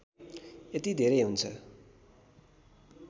यति धेरै हुन्छ